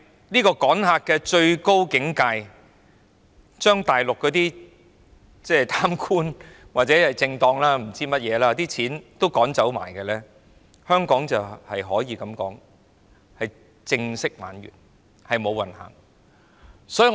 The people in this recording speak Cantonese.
不過，趕客的最高境界，就是將大陸的貪官、政黨或不知甚麼人的錢也趕走，屆時香港可以宣布正式"玩完"、"無運行"。